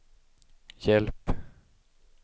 hjälp